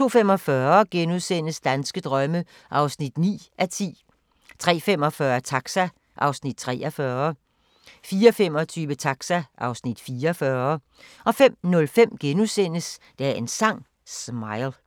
02:45: Danske drømme (9:10)* 03:45: Taxa (Afs. 43) 04:25: Taxa (Afs. 44) 05:05: Dagens Sang: Smile *